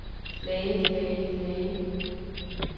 lagde lagde lagde